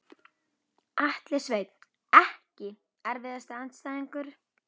Atli Sveinn EKKI erfiðasti andstæðingur?